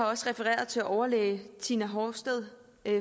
også refereret til overlæge tina horsted